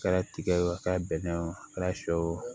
A kɛra tigɛ ye o a kɛra bɛnɛ o a kɛra shɛw